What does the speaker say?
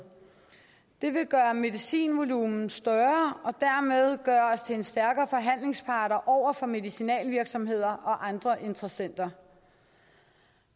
det vil gøre medicinvolumen større og dermed gøre os til en stærkere forhandlingspart over for medicinalvirksomheder og andre interessenter